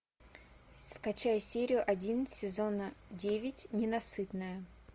скачай серию один сезона девять ненасытная